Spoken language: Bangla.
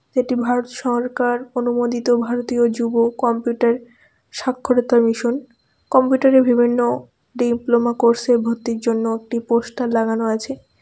এটি ভারত সরকার অনুমোদিত ভারতীয় যুব কম্পিউটার সাক্ষরতা মিশন কম্পিউটারের বিভিন্ন ডিপ্লোমা কোর্সের ভর্তির জন্য একটি পোস্টার লাগানো আছে.